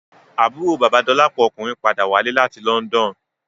Àbúrò bàba Dolapo ọkùnrin padà wálé láti London